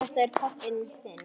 Er þetta pabbi þinn?